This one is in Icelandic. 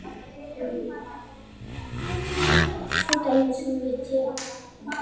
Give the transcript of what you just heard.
Svo dæmi sé tekið.